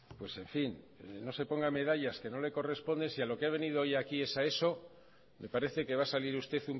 pues en fin no se ponga medallas que no le corresponden si a lo que ha venido hoy aquí es a eso me parece que va a salir usted